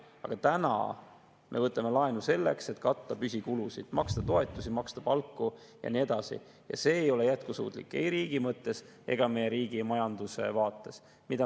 Aga praegu me võtame laenu selleks, et katta püsikulusid, maksta toetusi, maksta palku ja nii edasi ja see ei ole jätkusuutlik ei riigi mõttes ega meie riigi majanduse vaates.